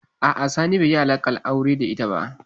A'a, Sani bai yi alaƙar aure da ita ba.